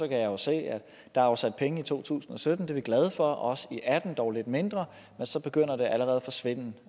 kan jeg jo se at der er afsat penge i to tusind og sytten det er vi glade for også i atten dog lidt mindre men så begynder det allerede at svinde